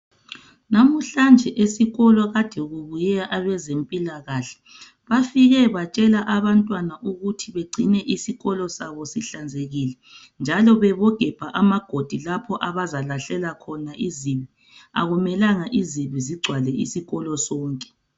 Namuhlanje esikolo kade kubuye abezempilakahle bafike batshela abantwana ukuthi bengcine isikolo sabo sihlanzekile njalo bebogebha amagodi lapho abazalahlela khona izibi akumelanga izibi zigcwale isikolo sonke.